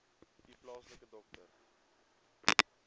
u plaaslike dokter